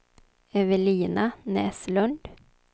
Evelina Näslund